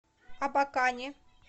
абакане